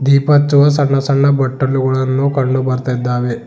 ದೀಪ ಹಚ್ಚುವ ಸಣ್ಣ ಸಣ್ಣ ಬಟಲುಗಳನ್ನು ಕಂಡು ಬರ್ತಾ ಇದ್ದಾವೆ.